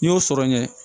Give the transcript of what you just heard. N'i y'o sɔrɔ ɲɛ